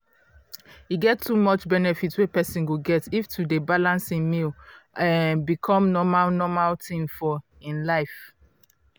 e get too much benefits wey persin go get if to dey balance hin meal um become normal normal thing for hin life.